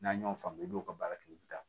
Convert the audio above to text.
N'a y'o faamu i b'o ka baara kɛ i bɛ taa